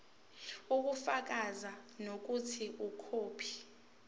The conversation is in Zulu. ubufakazi bokuthi ikhophi